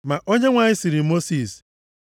Ma Onyenwe anyị sịrị Mosis,